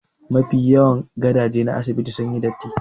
Mafi yawan gadaje na asibitin sun yi datti